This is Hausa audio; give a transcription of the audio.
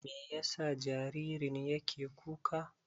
Me yasa jaririn yake kuka?